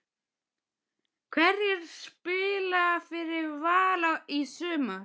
Hverjir spila fyrir Val í sumar?